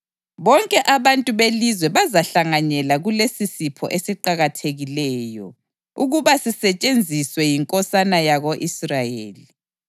Bonke abantu belizwe bazahlanganyela kulesisipho esiqakathekileyo ukuba sisetshenziswe yinkosana yako-Israyeli.